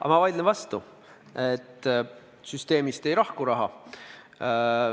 Aga ma vaidlen vastu: süsteemist ei lahku raha.